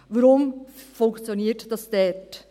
Warum funktioniert es dort?